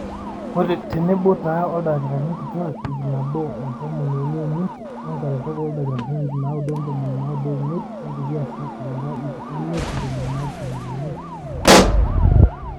tenebo taa oldakitarini kitwaak ip nabo otomoni uni oimiet, onkaretok ooldakitarini ip naaudo ontomoni naaudo oimiet, olkulie aasak oora ip imiet ntomoni naapishana oimiet enaa enaibalunyeki